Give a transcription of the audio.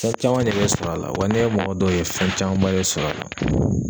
Fɛn caman de bɛ sɔrɔ a la wa ne ye mɔgɔ dɔw ye fɛn camanba de sɔrɔ a la.